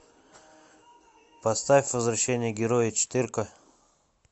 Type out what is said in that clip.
поставь возвращение героя четыре ка